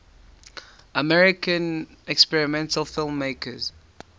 american experimental filmmakers